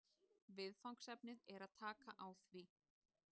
Viðfangsefnið er að taka á því